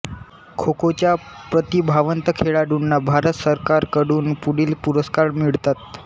खोखोच्या प्रतिभावंत खेळाडूंना भारत सरकारकडून पुढील पुरस्कार मिळतात